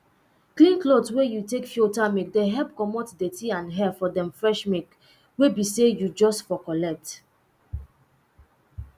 clean cloth wey you take filter milk dey help comot dirty and hair for dem fresh milk wey be say you just for collect